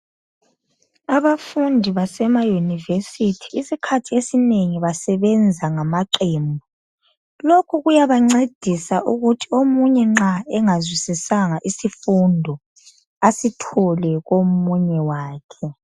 Abafundi basemaYunivesithi isikhathi esinengi basebenza ngamaqembu. Lokhu kuyabancedisa ukuthi omunye nxa engazwisisanga isifundo asithole komunye wakhe.